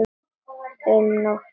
Um nótt